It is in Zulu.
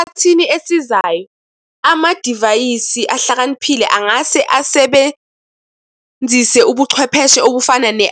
Esikhathini esizayo, amadivayisi ahlakaniphile angase asebenzise ubuchwepheshe obufana